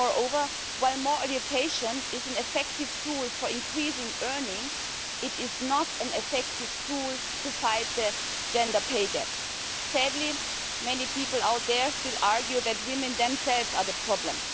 and moreover, while more education is an effective tool for increasing earnings, it is not an effective tool in fighting the gender pay gap. Sadly, many people out there still argue that women themselves are the problem.